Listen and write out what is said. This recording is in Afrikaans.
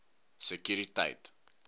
sekuriteit